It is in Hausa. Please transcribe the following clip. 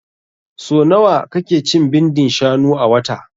So nawa ka ke cin bindin shanu a wata?